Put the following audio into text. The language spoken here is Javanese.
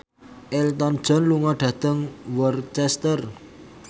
Elton John lunga dhateng Worcester